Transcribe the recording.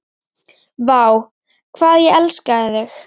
Vá, hvað ég elskaði þig.